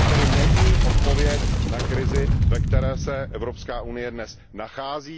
To není odpověď na krizi, ve které se Evropská unie dnes nachází.